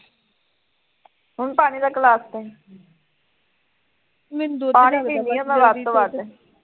ਅਮੀ ਪਾਣੀ ਦਾ ਗਿਲਾਸ ਦਈ ਪਾਣੀ ਪੀਂਦੀ ਆ ਮੈਂ ਵੱਧ ਤੋਂ ਵੱਧ